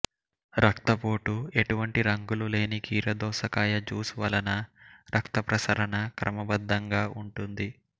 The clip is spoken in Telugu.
రక్తపోటు ఎటువంటి రంగులు లేని కీరదోసకాయ జ్యూస్ వలన రక్తప్రసరణ క్రమ బద్ధంగా ఉంటుంది